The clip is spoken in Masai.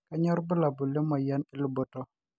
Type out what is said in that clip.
kanyio irbulabul le moyian eluboto